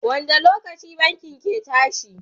wanda lokaci bankin ke tashi?